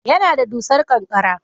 Yana da dusar ƙanƙara